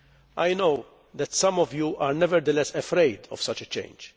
I know that some of you are nevertheless afraid of such a change.